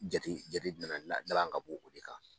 Jate jate jumɛn na la lalan ka bɔ o de kan.